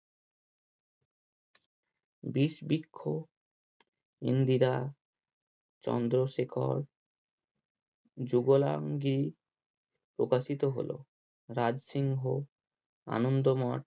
বিষবৃক্ষ ইন্দ্রিরা চন্দ্রশেখর যুগলাঙ্গি প্রকাশিত হলো রাজসিংহ আনন্দমট